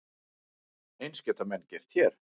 Eins geta menn gert hér.